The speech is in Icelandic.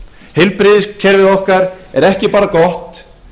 heilbrigðiskerfið okkar er ekki bara gott